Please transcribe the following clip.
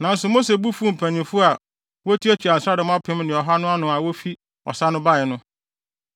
Nanso Mose bo fuw mpanyimfo a wotuatua nsraadɔm apem ne ɔha no ano a wofi ɔsa no bae no.